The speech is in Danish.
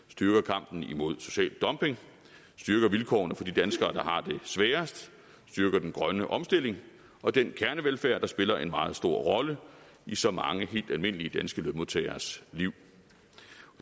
styrker kampen imod social dumping styrker vilkårene for de danskere der har det sværest styrker den grønne omstilling og den kernevelfærd der spiller en meget stor rolle i så mange helt almindelige danske lønmodtageres liv